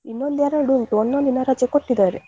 ಇನ್ನು ಒಂದ್ ಎರಡು ಉಂಟು, ಒಂದೊಂದ್ ದಿನ ರಜೆ ಕೊಟ್ಟಿದ್ದಾರೆ.